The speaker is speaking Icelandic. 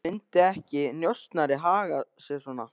Myndi ekki njósnari haga sér svona?